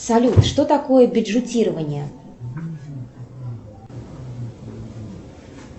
салют что такое бюджетирование